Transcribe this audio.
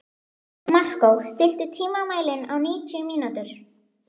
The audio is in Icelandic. Markó, stilltu tímamælinn á níutíu mínútur.